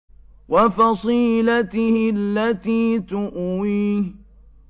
وَفَصِيلَتِهِ الَّتِي تُؤْوِيهِ